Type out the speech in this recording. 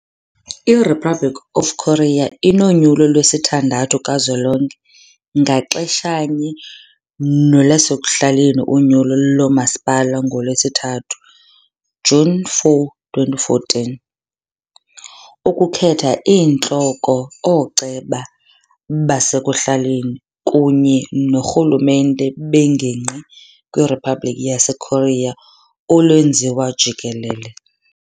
IRepublic of Korea inonyulo lwesithandathu kazwelonke ngaxeshanye nolwasekuhlaleni unyulo lomasipala ngoLwesithathu, June 04, 2014 ukukhetha iintloko ooceba basekuhlaleni kunye noorhulumente beengingqi kwiRiphabliki yaseKorea olwenziwa jikelele.